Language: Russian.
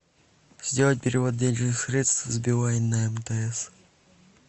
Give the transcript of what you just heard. сделать перевод денежных средств с билайн на мтс